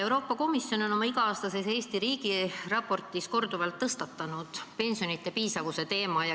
Euroopa Komisjon on oma iga-aastases riigiraportis Eesti kohta korduvalt tõstatanud pensionide piisavuse teema.